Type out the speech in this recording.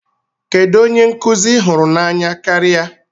Kedu onye nkụzi I hụrụ n'anya karịa?